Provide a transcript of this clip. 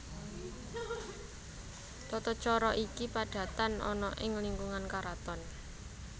Tata cara iki padatan ana ing lingkungan karaton